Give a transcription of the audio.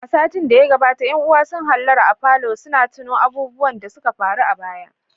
A satin da ya gabata ƴan uwa sun hallara a falon suna tuno abubuwan da suka faru a baya.